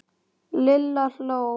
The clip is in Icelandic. Lilla hló.